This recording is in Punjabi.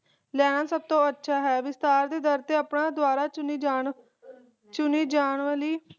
ਲੈਣਾ ਸਭ ਤੋਂ ਅੱਛਾ ਹੈ ਵਿਸਤਾਰ ਦੇ ਡਰ ਤੇ ਆਪਣੇ ਦੁਬਾਰਾ ਚੁਣੇ ਜਾਂ ਚੁਣੇ ਜਾਂ ਵਾਲੀ